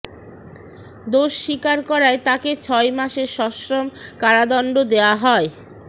দোষ স্বীকার করায় তাকে ছয় মাসের সশ্রম কারাদণ্ড দেওয়া হয়